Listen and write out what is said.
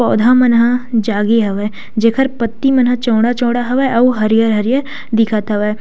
पौधा मन ह जागे हवय जेकर पत्ती मन ह चौड़ा चौड़ा हवय अउ हरियर-हरियर दिखत हवय।